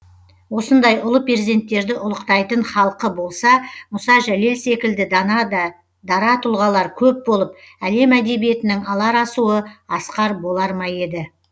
осындай ұлы перзенттерді ұлықтайтын халқы болса мұса жәлел секілді дана да дара тұлғалар көп болып әлем әдебиетінің алар асуы асқар болар ма еді